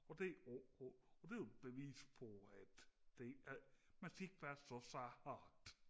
og det og det er jo et bevis på at det at man skal ikke være så sart